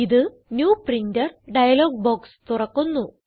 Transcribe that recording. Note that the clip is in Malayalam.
ഇത് ന്യൂ പ്രിന്റർ ഡയലോഗ് ബോക്സ് തുറക്കുന്നു